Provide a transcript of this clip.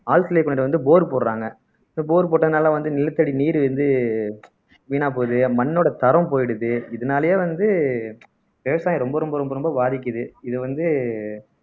ஆழ்துளை கிணறு வந்து போர் போடறாங்க இப்ப போர் போட்டதுனால வந்து நிலத்தடி நீர் வந்து வீணா போகுது மண்ணோட தரம் போயிடுது இதனாலேயே வந்து விவசாயம் ரொம்ப ரொம்ப ரொம்ப ரொம்ப பாதிக்குது இது வந்து